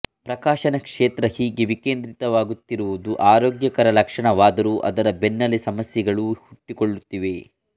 ಪ್ರಕಾಶನ ಕ್ಷೇತ್ರ ಹೀಗೆ ವಿಕೇಂದ್ರೀಕೃತವಾಗುತ್ತಿರುವುದು ಆರೋಗ್ಯಕರ ಲಕ್ಷಣವಾದರೂ ಅದರ ಬೆನ್ನಲ್ಲೇ ಸಮಸ್ಯೆಗಳೂ ಹುಟ್ಟಿಕೊಳ್ಳುತ್ತಿವೆ